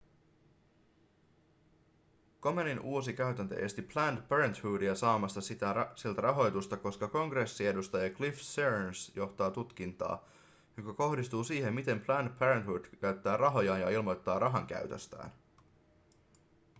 komenin uusi käytäntö esti planned parenthoodia saamasta siltä rahoitusta koska kongressiedustaja cliff searns johtaa tutkintaa joka kohdistuu siihen miten planned parenthood käyttää rahojaan ja ilmoittaa rahankäytöstään